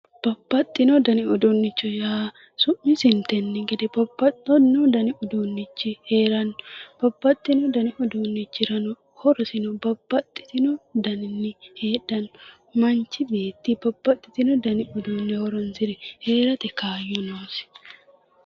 Babbaxino Dani uduunnichi yaa su'misintenni gede babbaxino Dani iduunnochi heeranno babbaxino Dani uduunnochirano horosino babaxitino daninni heedhanno machi beetti babbaxitino Dani heeranno